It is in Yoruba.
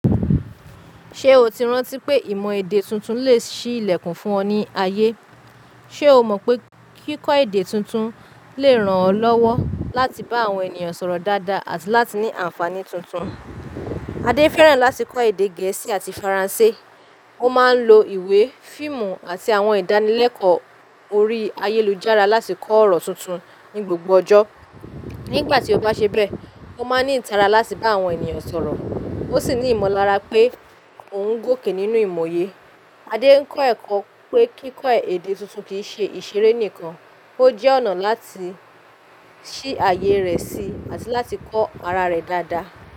Ṣé o ti rántí pé ìmọ̀ èdè tuntun lè ṣí ilẹ̀kùn fún ọ ní ayé? Ṣé o mọ̀ pé kíkọ́ èdè tuntun lè ràn ọ́ lọ́wọ́ láti bá àwọn ènìyàn sọ̀rọ̀ dáadáa àti láti ní àǹfààní tuntun? Adé fẹ́ràn láti kọ́ èdè Gẹ̀ẹ́sì àti Faransé. Ó máa ń lo ìwé, fíìmù àti àwọn ìdánilẹ́kọ̀ọ́ orí ayélujára láti kọ́ ọ̀rọ̀ tuntun ní gbogbo ọjọ́. Nígbà tí ó bá ṣe bẹ́ẹ̀, ó máa ń ní ìtara láti bá àwọn ènìyàn sọ̀rọ̀, ó sì ní ìmọ̀lára pé ó ń gòkè nínú ìmòye. Adé ń kọ́ ẹ̀kọ́ pé kíkọ́ èdè tuntun kì í ṣe ìṣeré nìkan, ó jẹ́ ọ̀nà láti ṣí àyè rẹ̀ sí àti láti kọ́ ara rẹ̀ dáadáa.